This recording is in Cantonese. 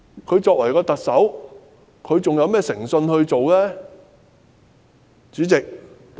她身為特首，還有甚麼誠信可言呢？